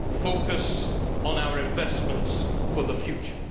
Focus on our investments for the future.